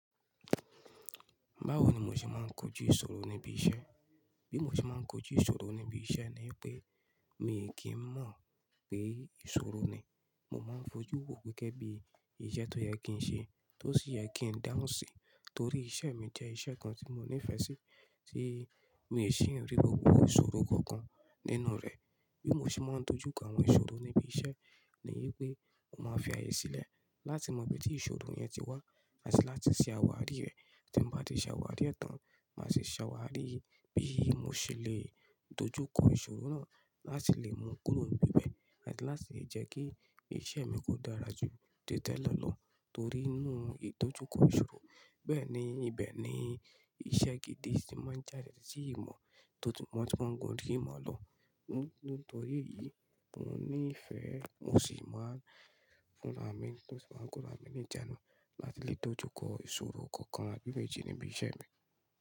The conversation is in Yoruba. Báwo ni mo ṣe máa ń kojú ìṣòro níbi iṣẹ́? Bí mo ṣe máa ń kojú ìṣòro níbi iṣẹ́ ni pé mi kì í mọ̀ pé ìṣòro ni. Mo máa ń fojú wò gẹ́gẹ́ bí iṣẹ́ tó yẹ kí n ṣe, tó sì yẹ kí n dáhùn sí, torí iṣẹ́ mi jẹ́ iṣẹ́ kan tí mo nífẹ̀ẹ́ sí, tí mi ò sì ń rí gbogbo ìṣòro kankan nínú rẹ̀. Bí mo ṣe máa ń dojú kọ àwọn ìṣòro níbi iṣẹ́ ni yé pé mo máa fi ààyè sílẹ̀ láti mọ ibi tí ìṣòro yẹn ti wá àti láti ṣe àwárí rẹ̀. Tí mo bá ti ṣàwárí rẹ̀ tán, màá sì ṣàwárí bí mo ṣe lè dojú kọ ìṣòro náà láti lè mú kúrò níbí bẹ̀ àti láti lè jẹ́ kí iṣẹ́ mi kó dára jù tí tẹ́lẹ̀ lọ torí inú ìdojúkọ ìṣòro. Bẹ́ẹ̀ ni, ibẹ̀ ni iṣẹ́ gidi tí màá ń jàdẹ̀ sí ìmọ̀, tí mo ṣe máa ń gun orí ìmọ̀ lọ. Nítorí èyí, mo nífẹ̀ẹ́, mo sì máa ń fúnra ì mi, mo sì máa ń gunra ì mi ní ìjánu láti lè dojú kọ ìṣòro kankan bí ó ṣe jẹ́ níbi iṣẹ́ mi.